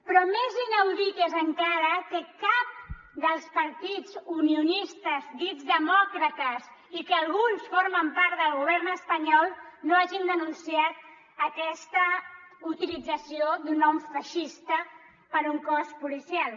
però més inaudit és encara que cap dels partits unionistes dits demòcrates i que alguns formen part del govern espanyol no hagin denunciat aquesta utilització d’un nom feixista per un cos policial